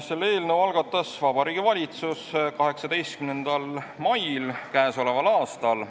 Selle eelnõu algatas Vabariigi Valitsus 18. mail käesoleval aastal.